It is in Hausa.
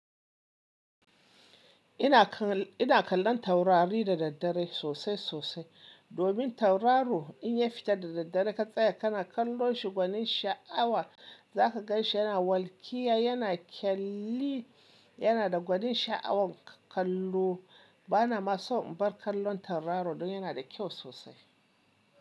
Ina kal- ina kallon taurari da daddare sosai sosai. Domin tauraro inya fita da daddare ka tsaya ka na kallon shi gwanin sha'awa zaka ganshi yana walkiya, yana kyalli, yana da gwanin sha'awan kallo. Bana ma so in bar kallon tauraro don yana da kyau sosai.